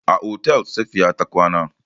A otel Safiya ta kwana.